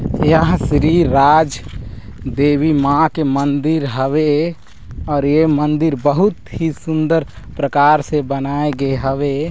यहाँ श्री राज देवी माँ के मंदिर हवे और ये मंदिर बहुत ही सुन्दर प्रकार से बनाए गे हवे।